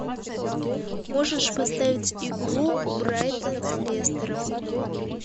можешь поставить игру брайтон с лестером